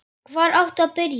Hvar áttu að byrja?